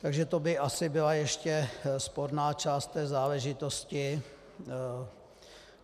Takže to by asi byla ještě sporná část té záležitosti.